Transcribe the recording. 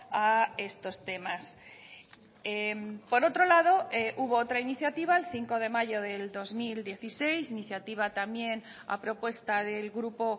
a estos temas por otro lado hubo otra iniciativa el cinco de mayo del dos mil dieciséis iniciativa también a propuesta del grupo